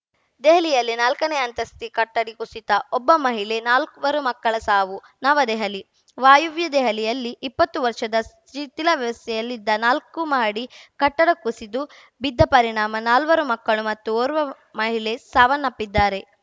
ದೆಹಲಿಯಲ್ಲಿ ನಾಲ್ಕನೇ ಅಂತಸ್ತಿ ಕಟ್ಟಡ ಕುಸಿತ ಒಬ್ಬ ಮಹಿಳೆ ನಾಲ್ವರು ಮಕ್ಕಳ ಸಾವು ನವದೆಹಲಿ ವಾಯುವ್ಯ ದೆಹಲಿಯಲ್ಲಿ ಇಪ್ಪತ್ತು ವರ್ಷದ ಶಿಥಿಲಾವಸ್ಥೆಯಲ್ಲಿದ್ದ ನಾಲ್ಕು ಮಹಡಿ ಕಟ್ಟಡ ಕುಸಿದು ಬಿದ್ದ ಪರಿಣಾಮ ನಾಲ್ವರು ಮಕ್ಕಳು ಮತ್ತು ಓರ್ವ ಮಹಿಳೆ ಸಾವನ್ನಪ್ಪಿದ್ದಾರೆ